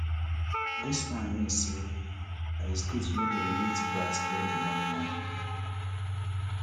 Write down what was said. dis one mean say i de state wey den remit VAT get di moni wor